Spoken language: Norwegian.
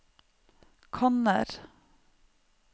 kanner